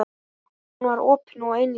Hún var opin og einlæg.